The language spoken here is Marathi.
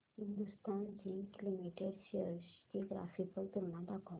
हिंदुस्थान झिंक लिमिटेड शेअर्स ची ग्राफिकल तुलना दाखव